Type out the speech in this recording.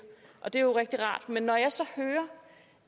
det er rigtig rart men når jeg så hører